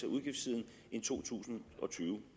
udgiftssiden en to tusind og tyve